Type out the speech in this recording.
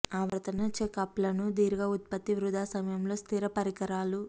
ఆవర్తన చెక్ అప్లను దీర్ఘ ఉత్పత్తి వృథా సమయంలో స్థిర పరికరాలు